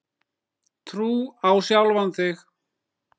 Trú á sjálfan sig.